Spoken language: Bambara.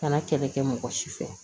Kana kɛlɛ kɛ mɔgɔ si fɛ